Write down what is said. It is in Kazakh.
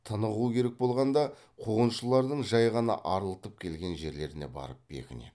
тынығу керек болғанда қуғыншылардың жай ғана арылтып келген жерлеріне барып бекінеді